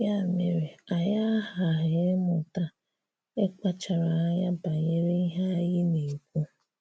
Yà mere, ànyị̀ aghàhà̀ ịmụta ịkpacharà ànyà banyere ihè ànyị̀ na-ekwu.